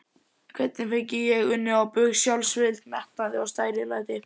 Hvernig fengi ég unnið bug á sjálfsvild, metnaði, stærilæti?